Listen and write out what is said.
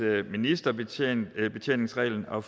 ministerbetjeningsreglen og